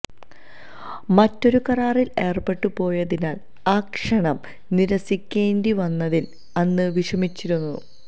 മറ്റൊരു കരാറില് ഏര്പ്പെട്ടു പോയതിനാല് ആ ക്ഷണം നിരസിക്കേണ്ടി വന്നതില് അന്ന് വിഷമിച്ചിരുന്നു